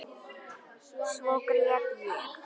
Svo grét ég.